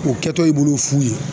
O kɛtɔ i bolo fu ye